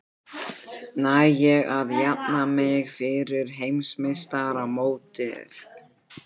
Næ ég að jafna mig fyrir heimsmeistaramótið?